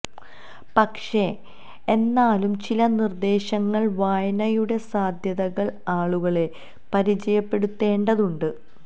പക്ഷേ എന്നാലും ചില നിര്ദ്ദേശങ്ങള് വായനയുടെ സാധ്യതകള് ആളുകളെ പരിചയപ്പെടുത്തേണ്ടതുണ്ട്